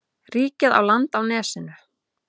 Ríkið á land á nesinu.